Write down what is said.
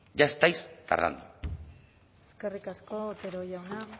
ya estáis tardando eskerrik asko otero jauna